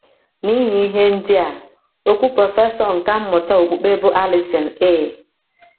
N’ihi ihe ndị a, okwu prọfesọ nkà mmụta okpukpe bụ́ Allison A.